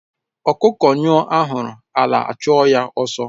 Ọkụkọ nyụo ahuru ala a chụọ ya ọsọ